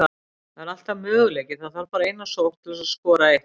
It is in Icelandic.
Það er alltaf möguleiki, það þarf bara eina sókn til að skora eitt mark.